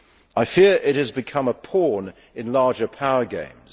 I fear it has become a pawn in larger power games.